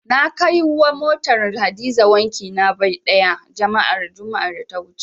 Na kai motar Hadiza wanki na bai ɗaya, juma'ar da ta wuce.